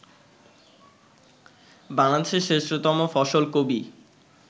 বাংলাদেশের শ্রেষ্ঠতম ফসল কবি